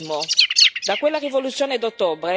Sì, sto parlando del totalitarismo.